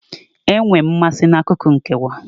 Enwere m mmasị n'akụkụ nkewa.